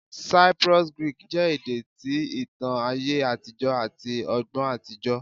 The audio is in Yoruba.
Cyprus Greek jẹ ede ti itan aye atijọ ati ọgbọn atijọ